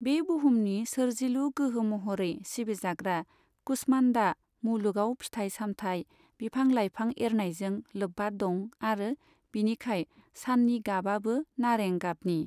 बे बुहुमनि सोरजिलु गोहो महरै सिबिजाग्रा कुष्मान्डा मुलुगआव फिथाइ सामथाइ, बिफां लाइफां एरनायजों लोब्बा दं आरो बिनिखाय साननि गाबआबो नारें गाबनि।